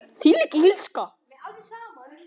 Þvílík illska.